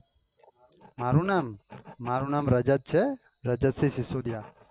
મારું નામ મારું નામ રજત છે રજત સિંહ સિસોદિયા